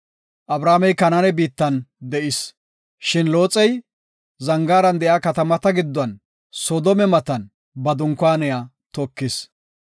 Abramey Kanaane biittan de7is. Shin Looxey Zangaaran de7iya katamata giddon Soodome matan ba dunkaaniya tokis.